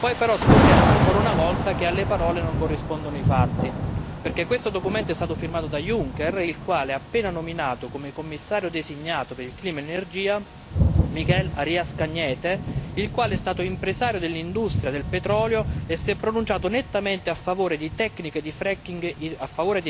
Poi però scopriamo ancora una volta che alle parole non corrispondono i fatti, perché questo documento è stato firmato da Juncker, il quale ha appena nominato come Commissario designato per il clima e l'energia Miguel Arias Cañete, il quale è stato impresario dell'industria del petrolio e si è pronunciato nettamente a favore di tecniche di fracking, ossia